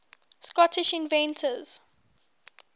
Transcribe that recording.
scottish inventors